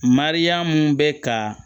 Mariyamu bɛ ka